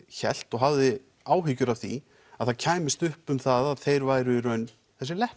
hélt og hafði áhyggjur af því að það kæmist upp um að þeir væru í raun þessir